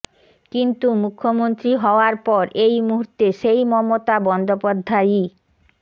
কিন্তু মুখ্যমন্ত্রী হওয়ার পর এই মুহুর্তে সেই মমতা বন্দ্যোপাধ্যায়ই